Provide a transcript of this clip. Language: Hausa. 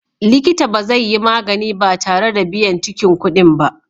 Likita ba zai yi magani ba tare da biyan cikin kuɗin ba.